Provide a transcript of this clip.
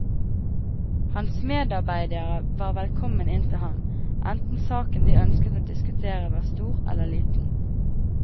Hans medarbeidere var velkommen inn til ham, enten saken de ønsket å diskutere var stor eller liten.